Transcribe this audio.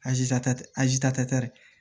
azi ta tɛ